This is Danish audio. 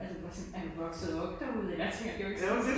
Altså bare sådan er du vokset op derude? Altså jeg tænker det jo ikke sådan et sted